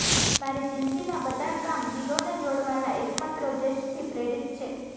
મારી જિંદગીનાં બધાં કામ દિલોને જોડવાના એકમાત્ર ઉદ્દેશથી પ્રેરિત છે